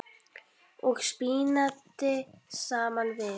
og spínati saman við.